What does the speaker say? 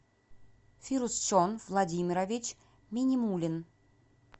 фирусчон владимирович минимулин